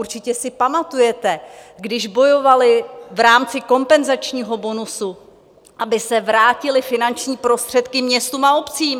Určitě si pamatujete, když bojovali v rámci kompenzačního bonusu, aby se vrátily finanční prostředky městům a obcím.